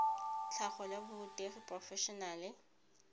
tlhago la borutegi porofe enale